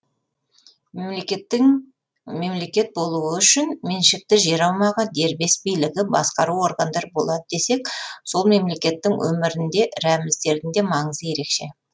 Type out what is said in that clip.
мемлекеттің мемлекет болуы үшін меншікті жер аумағы дербес билігі басқару органдары болады десек сол мемлекеттің өмірінде рәміздердің де маңызы ерекше